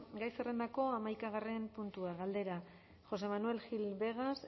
gai zerrendako hamaikagarrena puntua galdera josé manuel gil vegas